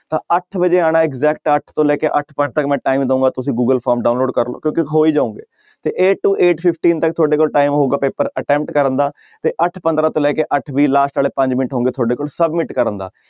ਤਾਂ ਅੱਠ ਵਜੇ ਆਉਣਾ ਹੈ exact ਅੱਠ ਤੋਂ ਲੈ ਕੇ ਅੱਠ ਪੰਜ ਤੱਕ ਮੈਂ time ਦਊਂਗਾ ਤੁਸੀਂ ਗੂਗਲ ਫੋਰਮ download ਕਰ ਲਓ ਹੀ ਜਾਓਗੇ ਤੇ eight to eight fifteen ਤੱਕ ਤੁਹਾਡੇ ਕੋਲ time ਹੋਊਗਾ ਪੇਪਰ attempt ਕਰਨ ਦਾ ਤੇ ਅੱਠ ਪੰਦਰਾਂ ਤੋਂ ਲੈ ਕੇ ਅੱਠ ਵੀਹ last ਵਾਲੇ ਪੰਜ ਮਿੰਟ ਹੋਣਗੇ ਤੁਹਾਡੇ ਕੋਲ submit ਕਰਨ ਦਾ।